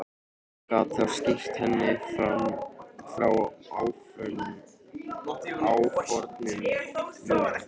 Gat þá skýrt henni frá áformum mínum.